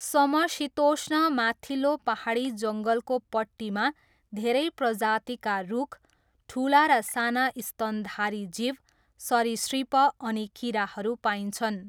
समशीतोष्ण माथिल्लो पाहाडी जङ्गलको पट्टीमा धेरै प्रजातिका रुख, ठुला र साना स्तनधारी जीव, सरीसृप अनि किराहरू पाइन्छन्।